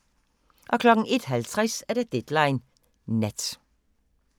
01:50: Deadline Nat